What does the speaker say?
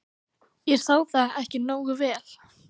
. ég sá það ekki nógu vel.